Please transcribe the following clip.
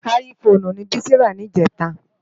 Áyì Fónú ni Bisi rá nijètá